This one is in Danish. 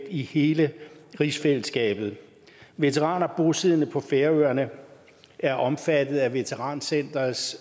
i hele rigsfællesskabet veteraner bosiddende på færøerne er omfattet af veterancenterets